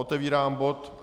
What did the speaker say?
Otevírám bod